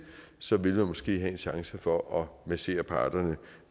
så ville der måske være en chance for at massere parterne